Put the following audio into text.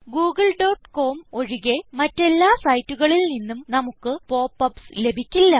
Google.com ഒഴികെ മറ്റെല്ലാ സൈറ്റുകളിൽ നിന്നും നമുക്ക് pop യുപിഎസ് ലഭിക്കില്ല